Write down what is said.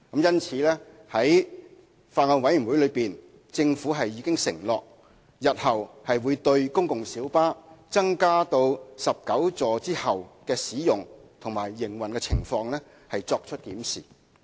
因此，在法案委員會會議上，政府已承諾日後會對公共小巴在增加至19個座位後的使用和營運情況，作出檢視。